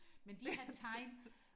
men de her tegn